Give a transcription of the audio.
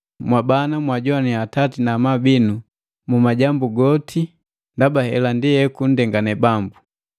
Mwabana, mwajoannya atati na amabu binu mu majambu goti, ndaba hela ndi ekundengane Bambu.